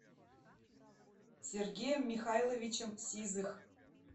сергеем михайловичем сизых